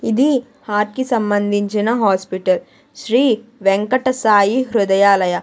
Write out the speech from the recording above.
ఇది హార్ట్ కి సంబంధించిన హాస్పిటల్ శ్రీ వెంకట సాయి హృదయాలయ.